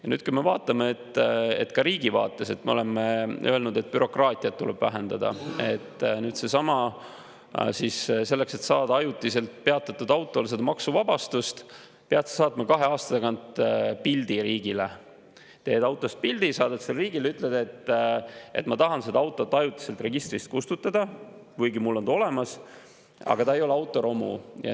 Ja kui me vaatame ka riigi vaates, me oleme öelnud, et bürokraatiat tuleb vähendada, aga nüüd selleks, et saada ajutiselt peatatud auto puhul maksuvabastust, pead sa saatma kahe aasta tagant riigile pildi, teed autost pildi, saadad selle riigile, ütled, et tahad seda autot ajutiselt registrist kustutada, kuigi ta on olemas, aga ta ei ole autoromu.